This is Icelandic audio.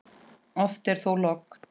Oft er þó logn.